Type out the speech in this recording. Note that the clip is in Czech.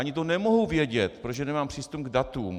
Ani to nemohu vědět, protože nemám přístup k datům.